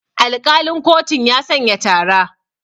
Alƙalin kotun ya sanya tara.